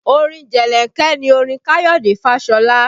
Orin jelenke ni orin Kayode Fashola